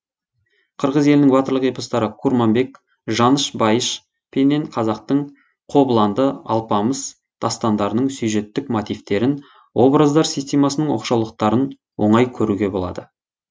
қырғыз елінің батырлық эпостары курманбек жаныш байыш пенен қазақтың кабланды алпамыш дастандарының сюжеттік мотивтерін образдар системасының оқшаулықтарын оңай көруге болады